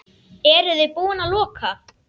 Eruði búin að loka?